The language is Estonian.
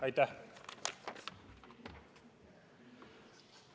Aitäh!